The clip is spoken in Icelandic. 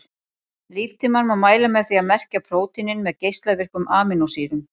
Líftímann má mæla með því að merkja prótínin með geislavirkum amínósýrum.